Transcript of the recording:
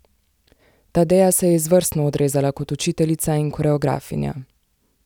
Tadeja se je izvrstno odrezala kot učiteljica in koreografinja.